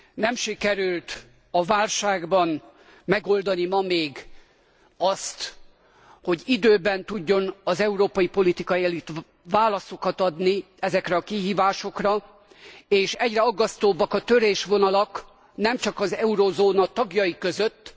Nem sikerült a válságban megoldani ma még azt, hogy időben tudjon az európai politikai elit válaszokat adni ezekre a kihívásokra, és egyre aggasztóbbak a törésvonalak, nem csak az eurózóna tagjai között.